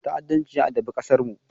Ta’addanci ya addabi ƙasarmu.